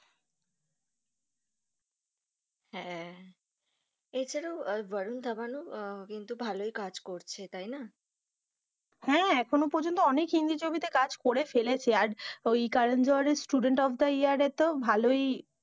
হ্যাঁ এছাড়া ও ভারুন ধাওয়ান ও কিন্তু ভালোই কাজ করছে তাই না? হ্যাঁ এখনো পযন্ত অনেক হিন্দি ছবিতে কাজ করে ফেলেছে আর ওই করণ জোহর ওই স্টুডেন্ট অফ দা ইয়ার তো ভালোই,